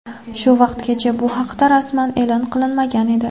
Shu vaqtgacha bu haqda rasman e’lon qilinmagan edi.